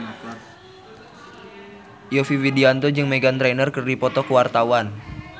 Yovie Widianto jeung Meghan Trainor keur dipoto ku wartawan